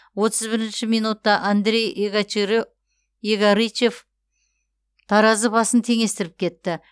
отыз бірінші минутта андрей егорычев таразы басын теңестіріп кетті